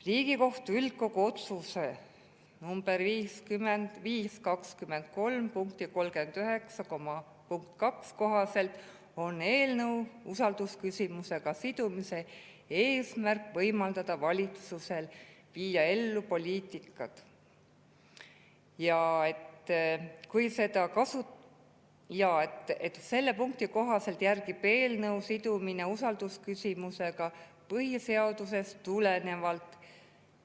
Riigikohtu üldkogu otsuse nr 5-20-3 punkti 39.2 kohaselt on eelnõu usaldusküsimusega sidumise eesmärk võimaldada valitsusel viia ellu oma poliitikat punkti 39.5 kohaselt järgib eelnõu sidumine usaldusküsimusega põhiseadusest tulenevat